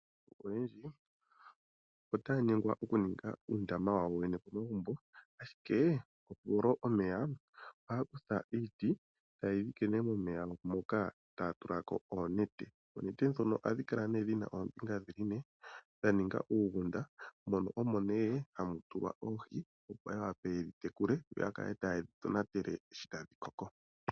Aantu oyendji otaa nyengwa oku ningi uundama wawo wene po magumbo ashike ,oku tula omeya ,ohaya kutha iiti tayeyi dhike momeya mpoka taa tula ko oonete . Oonete dhono ohadhi kala nee dhina oombinga ne, dha ninga uugunda ,mono omo nee hamu tulwa oohi opo ya wape oku dhi tekule, tayi dhi tonatele shoi tadhi koko.